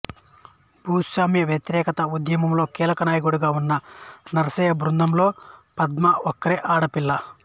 భూస్వామ్య వ్యతిరేక ఉద్యమంలో కీలక నాయకుడిగా ఉన్న నర్సయ్య బృందంలో పద్మ ఒక్కరే ఆడపిల్ల